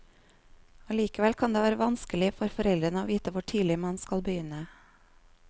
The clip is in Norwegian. Allikevel kan det være vanskelig for foreldre å vite hvor tidlig man skal begynne.